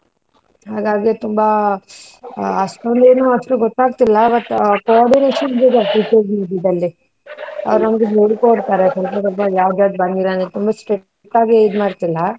ಹಾಗಾಗೆ ತುಂಬಾ ಅಷ್ಟೊಂದೇನು ಅಷ್ಟು ಗೊತ್ತಾಗ್ತಿಲ್ಲ ಮತ್ತೆ but coordinations ಇದೆ ದಲ್ಲಿ, ಅವರ್ ನಮ್ಗೆ ಹೇಳಿ ಕೊಡ್ತಾರೆ ಸ್ವಲ್ಪ ಸ್ವಲ್ಪ ಯಾವ್ದ್ಯವದು ಬಂದಿಲ್ಲ ಅಂದ್ರೆ ತುಂಬಾ strict ಆಗಿ ಇದ್ ಮಾಡ್ತೀಲ್ಲಾ.